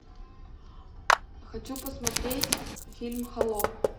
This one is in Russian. хочу посмотреть фильм холоп